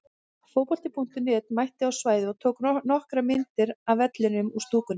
Fótbolti.net mætti á svæðið og tók nokkrar myndir af vellinum og stúkunni.